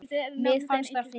Það fannst mér fyndið.